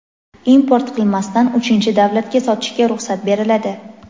import qilmasdan uchinchi davlatga sotishga ruxsat beriladi.